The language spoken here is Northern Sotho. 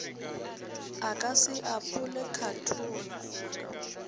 a ka se apole khathola